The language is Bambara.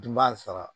Dun b'a sara